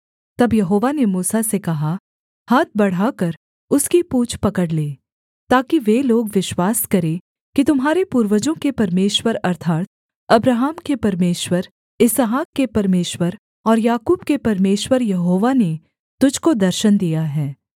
तब यहोवा ने मूसा से कहा हाथ बढ़ाकर उसकी पूँछ पकड़ ले ताकि वे लोग विश्वास करें कि तुम्हारे पूर्वजों के परमेश्वर अर्थात् अब्राहम के परमेश्वर इसहाक के परमेश्वर और याकूब के परमेश्वर यहोवा ने तुझको दर्शन दिया है